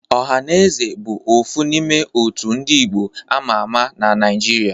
Ohanaeze bụ ofu n'ime òtù ndị Igbo ámá ámá na Naịjirịa.